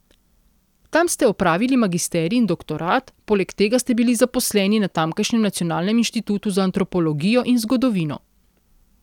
Tam ste opravili magisterij in doktorat, poleg tega ste bili zaposleni na tamkajšnjem Nacionalnem inštitutu za antropologijo in zgodovino.